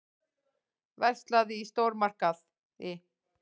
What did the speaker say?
Verslað í stórmarkaði.